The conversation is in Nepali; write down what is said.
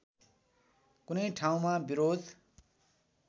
कुनै ठाउँमा विरोध